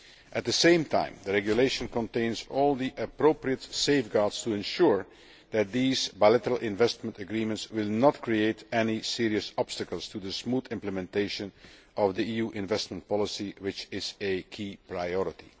At the same time the regulation contains all the appropriate safeguards to ensure that these bilateral investment agreements will not create any serious obstacles to the smooth implementation of EU investment policy, which is a key priority.